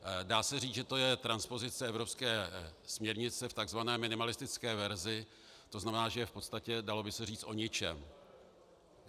Dá se říci, že to je transpozice evropské směrnice v takzvané minimalistické verzi, to znamená, že je v podstatě, dalo by se říci, o ničem.